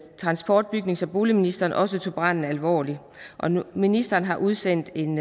transport bygnings og boligministeren også tog branden alvorligt ministeren har udsendt en